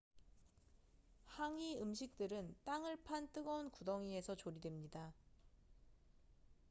항이hangi 음식들은 땅을 판 뜨거운 구덩이에서 조리됩니다